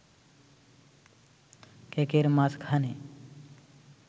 কেকের মাঝখানে